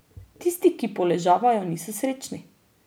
Tisti, ki poležavajo, niso srečni.